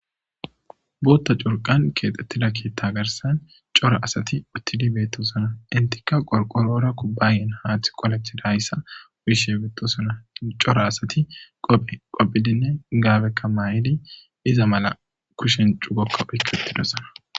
Bootta curqan keexxettida keetta garsan cora asati uttidi beetto sona intikka qolqorora kubbayen haathi qolathi dahayssa wuishe betto sona cora asati qophe qophidinne gaabekka maayidi iza mala kushen cugokka oykketidosona